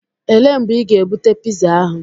Elee mgbe ị ga-ebute piza ahu?